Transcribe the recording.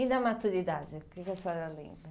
E da maturidade, o que que a senhora lembra?